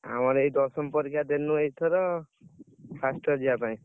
ଆମର ଏଇ ଦଶମ ପରୀକ୍ଷା ଦେଲୁ ଏଇଥର, first year ଯିବା ପାଇଁ।